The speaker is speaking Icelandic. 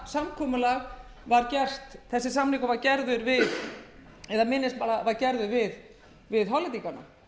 það fram sem sagt hefur verið að utanríkisráðuneytið vissi það mætavel að þetta minnisblað var gert við hollendingana